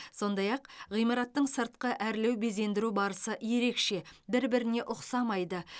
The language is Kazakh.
сондай ақ әр ғимараттың сыртқы әрлеу безендіру барысы ерекше бір біріне ұқсамайды